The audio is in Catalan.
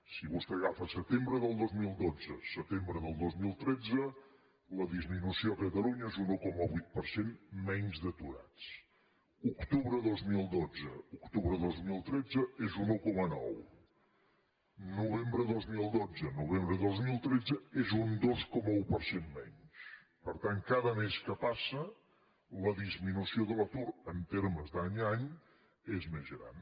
si vostè agafa setembre del dos mil dotze setembre del dos mil tretze la disminució a catalunya és un un coma vuit per cent menys d’aturats octubre de dos mil dotze octubre del dos mil tretze és un un coma nou novembre dos mil dotze novembre dos mil tretze és un dos coma un per cent menys per tant cada mes que passa la disminució de l’atur en termes d’any a any és més gran